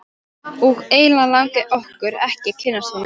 Og eiginlega langaði okkur ekki að kynnast honum.